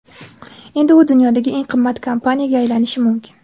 Endi u dunyodagi eng qimmat kompaniyaga aylanishi mumkin.